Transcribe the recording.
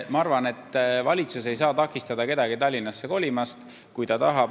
Ma arvan, et valitsus ei saa takistada kedagi Tallinnasse kolimast, kes kolida tahab.